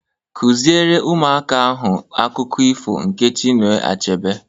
Kụziere ụmụaka ahụ akụkọ ifo nke Chinua Achebe!